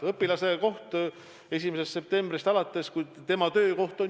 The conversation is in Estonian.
Õpilase töökoht 1. septembrist alates on kool.